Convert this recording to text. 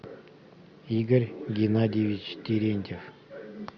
игорь геннадьевич терентьев